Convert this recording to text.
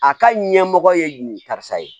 A ka ɲɛmɔgɔ ye nin karisa ye